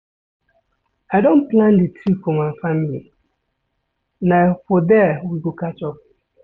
I don plan di trip for my family, na for there we go catch up.